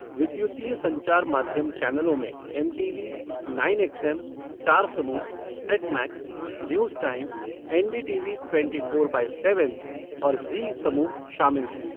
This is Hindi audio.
विद्युतीय संचार माध्यम चैनलों में एमटीवी, नाइन एक्सएम, स्टार समूह, set max, news time, NDTV twenty four by seven और ज़ी समूह शामिल हैं।